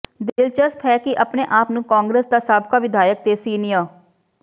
ਦਿਲਚਸਪ ਹੈ ਕਿ ਆਪਣੇ ਆਪ ਨੂੰ ਕਾਂਗਰਸ ਦਾ ਸਾਬਕਾ ਵਿਧਾਇਕ ਤੇ ਸੀਨੀਅ